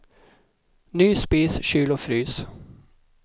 Ny spis, kyl och frys.